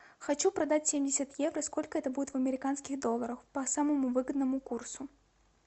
хочу продать семьдесят евро сколько это будет в американских долларах по самому выгодному курсу